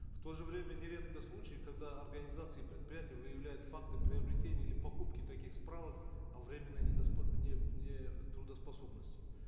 в то же время нередки случаи когда организации и предприятия выявляют факты приобретения или покупки таких справок о временной нетрудоспособности